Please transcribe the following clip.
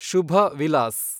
Shubha Vilas